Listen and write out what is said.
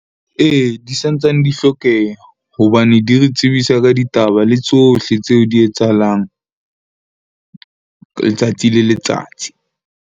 Ee, di santsane di hlokeha hobane di re tsebisa ka ditaba le tsohle tseo di etsahalang letsatsi le letsatsi.